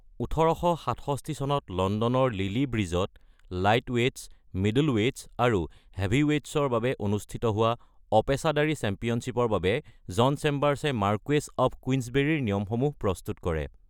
১৮৬৭ চনত লণ্ডনৰ লিলি ব্ৰীজত লাইটৱে'টছ, মিডলৱে'টছ আৰু হেভিৱে'টছৰ বাবে অনুষ্ঠিত হোৱা অপেশাদাৰী চেম্পিয়নশ্বিপৰ বাবে জন চেম্বাৰ্ছে মাৰ্কুৱেছ অৱ কুইন্সবেৰীৰ নিয়মসমূহ প্ৰস্তুত কৰে।